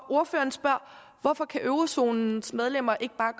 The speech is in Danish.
ordføreren spørger hvorfor eurozonens medlemmer ikke bare